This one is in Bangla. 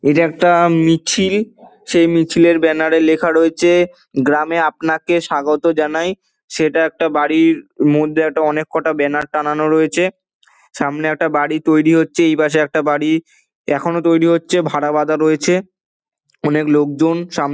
ইটা একটা মিছিল সেই মিছিলের ব্যানার এ লেখা রয়েছে গ্রামে আপনাকে স্বাগত জানাই সেটা একটা বাড়ির মধ্যে অনেক কটা ব্যানার টানা রয়েছে সামনে একটা বাড়ি তৈরী হচ্ছে এপাশে একটা বাড়ি এখনো তৈরী হচ্ছে ভাড়া বাদ রয়েছে অনেক লোক জন সাম--